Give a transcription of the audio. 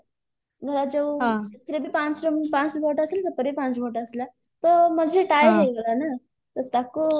ଧରାଯାଉ ଏଥିରେ ବି ପାଞ୍ଚ ଜଣଙ୍କୁ ପାଞ୍ଚ vote ଆସିଲା ସେପଟେ ବି ପାଞ୍ଚ vote ଆସିଲା ତ ମଝିରେ tie ହେଇଗଲାନା ତ ତାକୁ